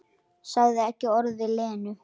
Sagði ekki orð við Lenu.